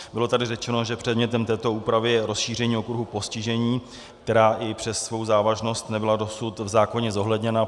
Bylo tady řečeno, že předmětem této úpravy je rozšíření okruhu postižení, která i přes svou závažnost nebyla dosud v zákoně zohledněna.